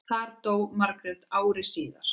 Þar dó Margrét ári síðar.